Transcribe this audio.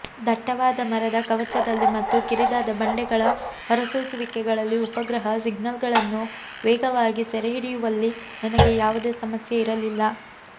ದಟ್ಟವಾದ ಮರದ ಕವಚದಲ್ಲಿ ಮತ್ತು ಕಿರಿದಾದ ಬಂಡೆಗಳ ಹೊರಸೂಸುವಿಕೆಗಳಲ್ಲಿ ಉಪಗ್ರಹ ಸಿಗ್ನಲ್ಗಳನ್ನು ವೇಗವಾಗಿ ಸೆರೆಹಿಡಿಯುವಲ್ಲಿ ನನಗೆ ಯಾವುದೇ ಸಮಸ್ಯೆ ಇರಲಿಲ್ಲ